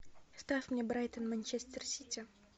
ставь мне брайтон манчестер сити